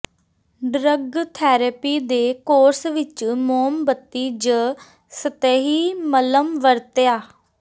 drug therapy ਦੇ course ਵਿੱਚ ਮੋਮਬੱਤੀ ਜ ਸਤਹੀ ਮੱਲ੍ਹਮ ਵਰਤਿਆ